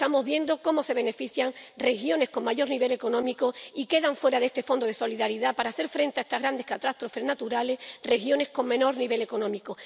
Estamos viendo cómo se benefician regiones con mayor nivel económico y quedan fuera de este Fondo de Solidaridad para hacer frente a estas grandes catástrofes naturales regiones con menor nivel económico.